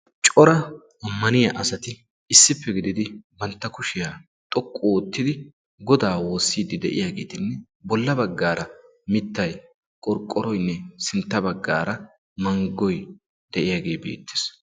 Cora ammaniya asati issippe gididi bantta kushiyaa xoqqu oottidi godaa woossiiddi de'iyaageetinne bolla baggaara mittay qorqqoroynne sintta baggaara manggoy de'iyaagee beettees.